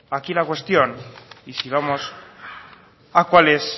aquí la cuestión y si vamos a cuál es